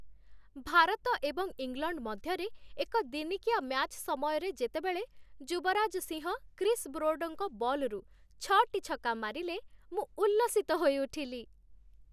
ଭାରତ ଏବଂ ଇଂଲଣ୍ଡ ମଧ୍ୟରେ ଏକ ଦିନିକିଆ ମ୍ୟାଚ୍ ସମୟରେ ଯେତେବେଳେ ଯୁବରାଜ ସିଂହ କ୍ରିସ୍ ବ୍ରୋଡଙ୍କ ବଲ୍‌ରୁ ଛଅଟି ଛକା ମାରିଲେ, ମୁଁ ଉଲ୍ଲସିତ ହୋଇଉଠିଲି।